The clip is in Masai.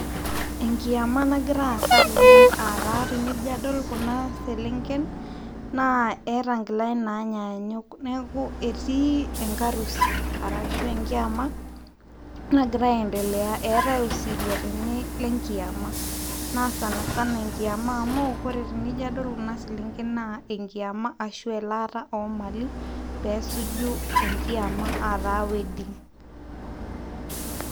Enkiama nang'ira asa tene, ata tenijio adol kuna selenken, na eta ingilani nanyanyuk, niaku eti enkarusi ashu enkiama nangira aendelea. etae osirua tene lenkiama na sana sana enkiama amu kore tenijio adol kuna selenken na enkiama ashu elata omali, pesuju enkiama ata wedding